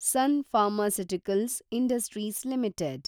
sun Pharmaceuticals Industries limited